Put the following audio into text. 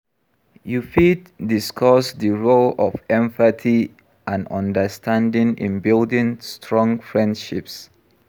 Yu fit discuss di role of empathy and understanding in building strong freindships.